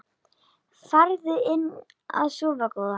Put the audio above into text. Farðu inn að sofa góði.